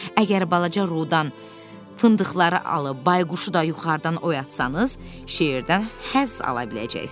Əgər balaca Rodan fındıqları alıb, bayquşu da yuxarıdan oyatsanız, şeirdən həzz ala biləcəksiniz.